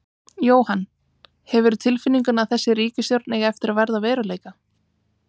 Jóhann: Hefurðu tilfinninguna að þessi ríkisstjórn eigi eftir að verða að veruleika?